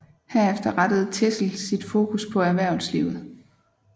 Herefter rettede Teschl sit fokus på erhvervslivet